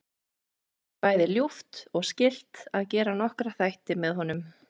Mér væri bæði ljúft og skylt að gera nokkra þætti með honum.